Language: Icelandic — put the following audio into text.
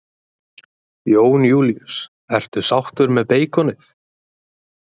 Jón Júlíus: Ertu sáttur með beikonið?